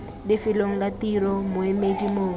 lefelong la tiro moemedi mongwe